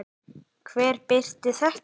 Hver birti þetta?